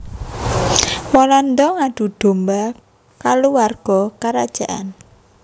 Walanda ngadu dhomba kaluwarga karajaan